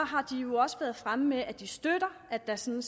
har de jo også været fremme med at de støtter at der sådan